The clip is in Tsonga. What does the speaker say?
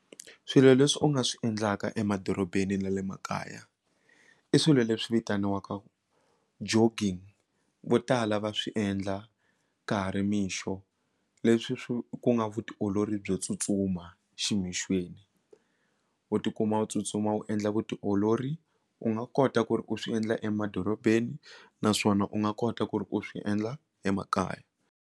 Swilo leswi u nga swi endlaka emadorobeni na le makaya i swilo leswi vitaniwaka jogging vo tala va swi endla ka ha ri mixo leswi swi ku nga vutiolori byo tsutsuma ximixweni u tikuma u tsutsuma u endla vutiolori u nga kota ku ri u swi endla emadorobeni naswona u nga kota ku ri u swi endla emakaya.